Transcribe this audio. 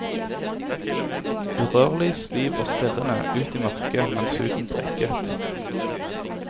Urørlig, stiv og stirrende ut i mørket mens huden prikket.